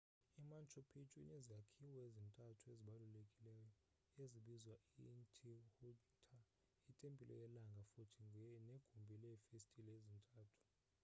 i-manchu pichu inezakhiwo ezintathu ezibalulekileyo ezibizwa i-intihuanta itempile yelanga futhi negumbi leefestile ezintathu